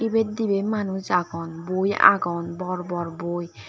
ibet dibi manuj agon boi agon bor bor boi.